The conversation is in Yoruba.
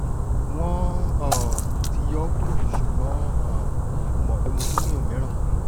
won um ti yo kuro sugbon um mo mo pe mo tun ni omiran